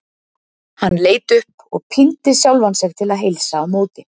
Hann leit upp og píndi sjálfan sig til að heilsa á móti.